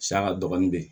dɔɔnin bɛ yen